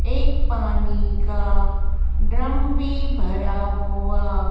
एक पानी का ड्रम भी भरा हुआ--